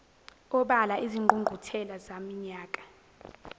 obala izingqungquthela zaminyaka